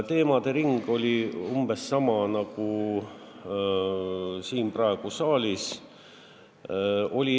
Teemade ring oli umbes sama nagu äsja siin saalis.